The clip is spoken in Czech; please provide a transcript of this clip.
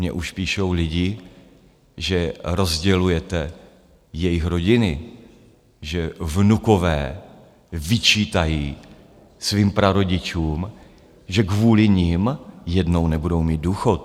Mně už píšou lidi, že rozdělujete jejich rodiny, že vnukové vyčítají svým prarodičům, že kvůli nim jednou nebudou mít důchod.